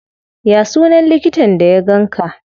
Ya sunan likitan da ya ganka?